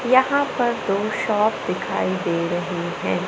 यहां पर दो शॉप दिखाई दे रहे हैं।